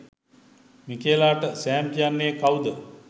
මිකේලාට Sam කියන්නේ කවුද